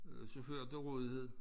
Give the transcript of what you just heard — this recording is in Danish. Øh chauffører til rådighed